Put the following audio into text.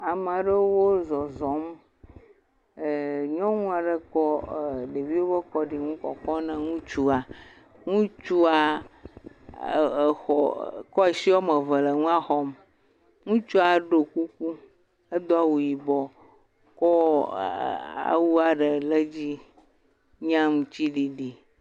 Ame aɖewo zɔzɔm eeee…. Nyɔnu aɖe kɔ ee ɖeviwo ƒe kɔɖinu le kɔkɔm na ŋutsu, ŋutsu ee.. xɔ.., kɔ asi woame eve le nua xɔm, ŋutsu ɖo kuku do awu yibɔ awua ɖe le edzi nye aŋutiɖiɖi.